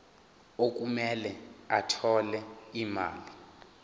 okumele athole imali